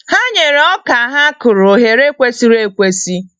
Ha nyere oka ha kụrụ ohere kwesịrị ekwesị.